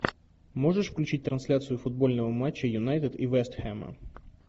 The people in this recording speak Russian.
можешь включить трансляцию футбольного матча юнайтед и вест хэма